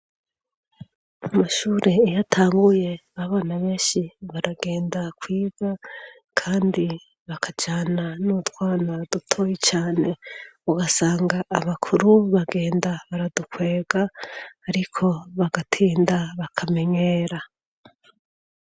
Amashure iyo atanguye abana benshi baragenda kwiga kandi bakajana n'utwana dutoyi cane ugasanga abakuru bagenda baradukwega ariko bagatinda bakamenyera.